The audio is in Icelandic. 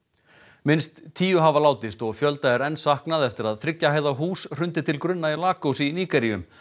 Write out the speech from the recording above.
minnst tíu hafa látist og fjölda er enn saknað eftir að þriggja hæða hús hrundi til grunna í Lagos í Nígeríu